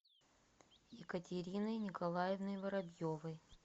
екатериной николаевной воробьевой